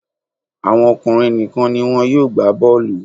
Àwọn ọkùnrin nìkan ni wọn yóò gbá bọ́ọ̀lù